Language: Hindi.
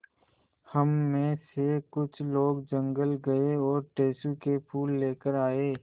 हम मे से कुछ लोग जंगल गये और टेसु के फूल लेकर आये